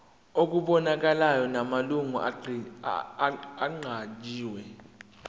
okubonakalayo namalungu aqanjiwe